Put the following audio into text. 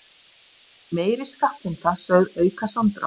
Meiri skattheimta sögð auka samdrátt